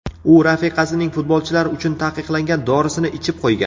U rafiqasining futbolchilar uchun taqiqlangan dorisini ichib qo‘ygan.